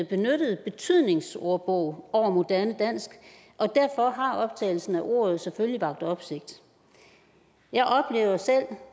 benyttede betydningsordbog over moderne dansk og derfor har optagelsen af ordet selvfølgelig vakt opsigt jeg oplever